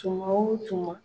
Tuma o tuma